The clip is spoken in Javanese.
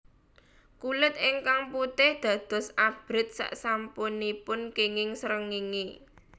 Kulit ingkang putih dados abrit sasampunipun kenging srengéngé